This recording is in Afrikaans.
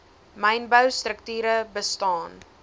mynbou strukture bestaan